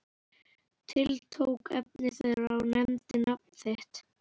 Tiltók efni þeirra og nefndi nafn þitt.